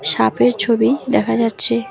সাপের ছবি দেখা যাচ্ছে।